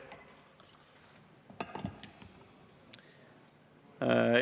Aitäh!